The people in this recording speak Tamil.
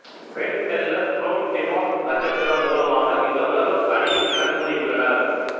பென் டெல்லர் புரோன் டிவார்ஃப் நட்சத்திரம் மூலமாக இந்த உலகம் அழியும் எனக் கூறியுள்ளனர்